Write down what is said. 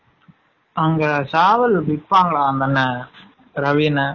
அங்க சாவல் விப்பங்காலா அந்த அன்னன் ரவி அன்னன்?